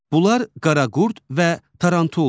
Bunlar qaraqurd və tarantuldur.